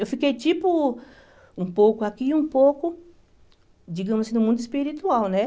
Eu fiquei, tipo, um pouco aqui e um pouco, digamos assim, no mundo espiritual, né?